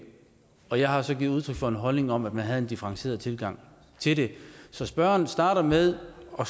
og jeg har så givet udtryk for en holdning om at man skulle have en differentieret tilgang til det så spørgeren starter med at